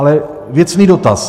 Ale věcný dotaz.